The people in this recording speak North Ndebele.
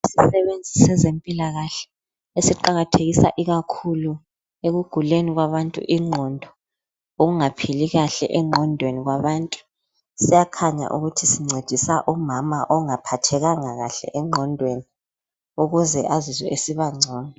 Isisebenzi sezempilakahle esiqakathekisa ikakhulu ekuguleni kwabantu ingqondo ukungaphili kahle engqondweni kwabantu siyakhanya ukuthi sincedisa umama ongaphathekanga kahle engqondweni ukuze azizwe esiba ngcono.